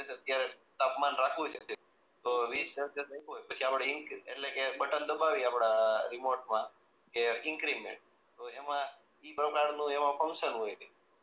ક્યારેક તાપમાન રાખવું છે તો વીસ સેલ્શીયસ લખ્યું હોય પછી આપણે ઇન્કરી એટલે કે બટન દબાવીએ આપણા રીમોટ માં કે એન્ક્રીમેન્ત તો એમાં એ પ્રકાર નું ફન્કશન હોય